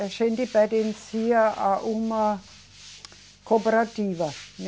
A gente pertencia a uma cooperativa.